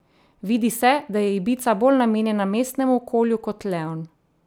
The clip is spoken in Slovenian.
Vidi se, da je ibiza bolj namenjena mestnemu okolju kot leon.